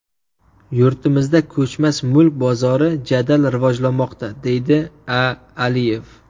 Yurtimizda ko‘chmas mulk bozori jadal rivojlanmoqda, deydi A. Aliyev.